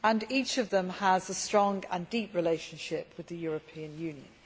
Each of them has a strong and deep relationship with the European Union.